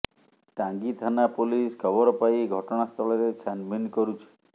ଟାଙ୍ଗୀ ଥାନା ପୋଲିସ ଖବର ପାଇ ଘଟଣାସ୍ଥଳରେ ଛାନଭିନ୍ କରୁଛି